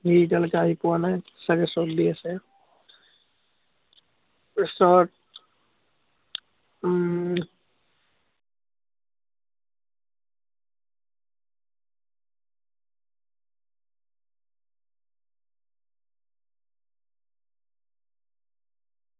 সি এতিয়ালেকে আহি পোৱা নায়, চাগে দি আছে। উম